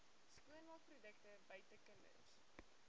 skoonmaakprodukte buite kinders